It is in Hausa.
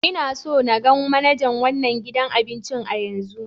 N'na so n gan manajan wanan gidan abincin yanzu!